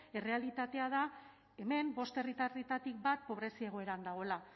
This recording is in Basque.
errealitatea da hemen bost herritarretatik bat pobrezia egoeran dagoela